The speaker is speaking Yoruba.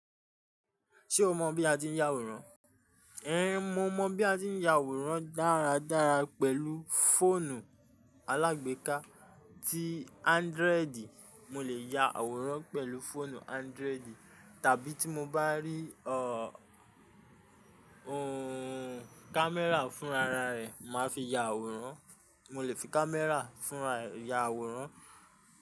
Ṣé o mọ̀ bí a ti ń ya àwòrán? Ẹ̀n, mo mọ̀ bí a ti ń ya àwòrán dáradára pẹ̀lú fóònù alágbèéká ti ándiroìdì. Mo lè ya àwòrán pẹ̀lú fóònù ándiroìdì tàbí tí mo bá rí ọ, ooh, kámẹ́rà fúnraara rẹ̀, màá fi ya àwòrán. Mo lè fi kámẹ́rà fúnra ya àwòrán.